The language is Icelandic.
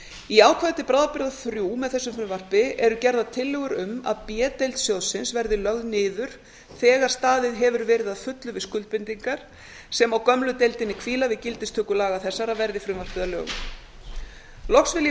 í ákvæði til bráðabirgða þrjú með þessu frumvarpi eru gerðar tillögur um að b deild sjóðsins verði lögð niður þegar staðið hefur verið að fullu við skuldbindingar sem á gömlu deildinni hvíla við gildistöku laga þessara verði frumvarpið að lögum loks vil